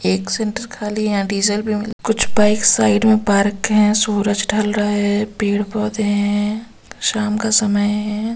एक सेंटर खाली है यहां डीजल भी मिल कुछ बाइक साइड में पार्क है सूरज ढल रहा है पेड़ पौधे हैं शाम का समय है